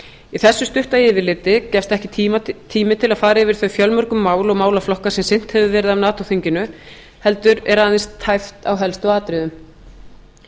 í þessu stutta yfirliti gefst ekki tími til að fara yfir þau fjölmörgu mál og málaflokka sem sinnt hefur verið af nato þinginu heldur er aðeins tæpt á helstu atriðum